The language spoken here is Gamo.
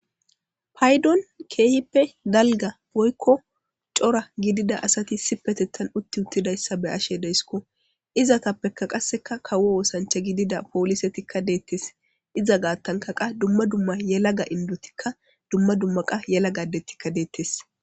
Paydon keehippe dalga boykko cora gidida asati si petettan utti uttidayssa be ashe deesiko izatappekka qasseka kawo oosancha gidida poolisetikka deettes iza gaattanka qa dumma dumma yelaga indotikka dumma dumma qa yela gadetikka deettes.